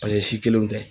Paseke si kelenw tɛ